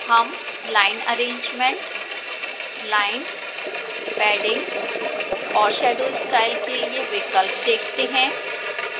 हम line arrangement line padding और shadow style के लिए विकल्प देखते हैं